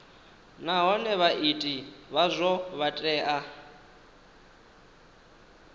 nahone vhaiti vhazwo vha tea